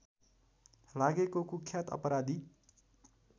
लागेको कुख्यात अपराधी